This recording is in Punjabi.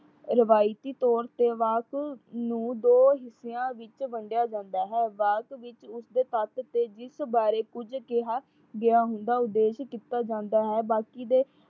ਰਿਵਾਇਤੀ ਤੋਰ ਤੇ ਵਾਕ ਨੂੰ ਦੋ ਹਿਸਿਆ ਵਿੱਚ ਵੰਡਿਆ ਜਾਂਦਾ ਹੈ। ਵਾਕ ਵਿੱਚ ਉਸ ਦੇ ਤੱਤ ਤੇ ਜਿਸ ਬਾਰੇ ਕੁਝ ਕਿਹਾ ਗਿਆ ਹੁੰਦਾ। ਉਦੇਸ਼ ਨਿਕਲ ਜਾਂਦਾ ਹੈ। ਬਾਕੀ ਦੇ